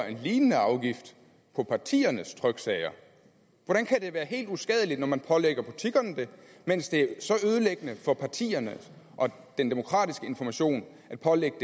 en lignende afgift på partiernes tryksager hvordan kan det være helt uskadeligt at man pålægger butikkerne den mens det er så ødelæggende for partierne og den demokratiske information at pålægge